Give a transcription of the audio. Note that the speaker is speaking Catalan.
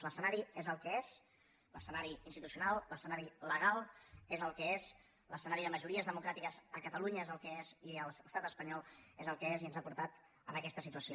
l’escenari és el que és l’escenari institucional l’escenari legal és el que és l’escenari de majories democràtiques a catalunya és el que és i a l’estat espanyol és el que és i ens ha portat a aquesta situació